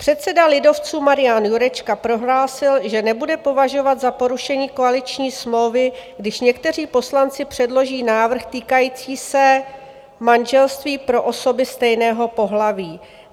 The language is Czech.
Předseda lidovců Marian Jurečka prohlásil, že nebude považovat za porušení koaliční smlouvy, když někteří poslanci předloží návrh týkající se manželství pro osoby stejného pohlaví.